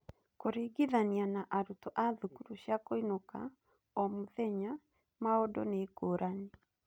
Kũringithania na arutwo a thukuru cia kũinũka o-mũthenya, maũndũ nĩ ngũrani.